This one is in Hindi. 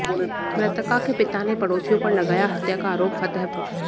मृतका के पिता ने पड़ोसियों पर लगाया हत्या का आरोप फतेहपुर